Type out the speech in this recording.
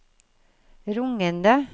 rungende